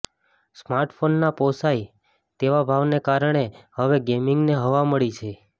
smart ફોનના પોસાય તેવા ભાવને કારણે હવે ગેમિંગને હવા મળી છે